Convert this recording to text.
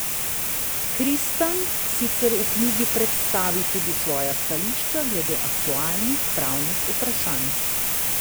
Kristan sicer v knjigi predstavi tudi svoja stališča glede aktualnih pravnih vprašanj.